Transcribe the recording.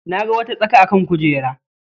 Na ga wata tsaka a kan kujerar.